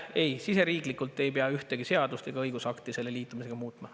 Ei, siseriiklikult ei pea ühtegi seadust ega õigusakti selle liitumisega muutma.